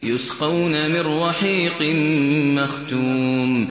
يُسْقَوْنَ مِن رَّحِيقٍ مَّخْتُومٍ